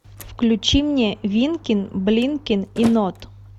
включи мне винкин блинкин и нод